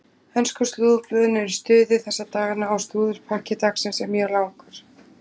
Ensku slúðurblöðin eru í stuði þessa dagana og slúðurpakki dagsins er mjög langur.